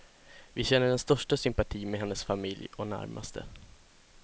Vi känner den största sympati med hennes familj och närmaste.